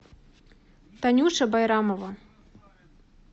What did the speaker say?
танюша байрамова